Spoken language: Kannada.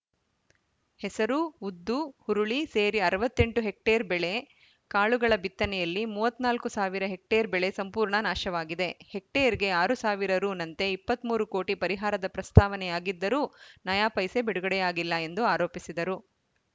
ಹೆಸರು ಉದ್ದು ಹುರುಳಿ ಸೇರಿ ಅರವತ್ತ್ ಎಂಟು ಹೆಕ್ಟೇರ್‌ ಬೇಳೆ ಕಾಳುಗಳ ಬಿತ್ತನೆಯಲ್ಲಿ ಮೂವತ್ತ್ ನಾಲ್ಕು ಸಾವಿರ ಹೆಕ್ಟೇರ್‌ ಬೆಳೆ ಸಂಪೂರ್ಣ ನಾಶವಾಗಿದೆ ಹೆಕ್ಟೇರ್‌ಗೆ ಆರು ಸಾವಿರ ರೂಪಾಯಿ ನಂತೆ ಇಪ್ಪತ್ತ್ ಮೂರು ಕೋಟಿ ಪರಿಹಾರದ ಪ್ರಸ್ತಾವನೆಯಾಗಿದ್ದರೂ ನಯಾ ಪೈಸೆ ಬಿಡುಗಡೆಯಾಗಿಲ್ಲ ಎಂದು ಆರೋಪಿಸಿದರು